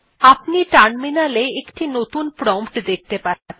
আপনি টার্মিনালে একটি নতুন প্রম্পট দেখতে পাবেন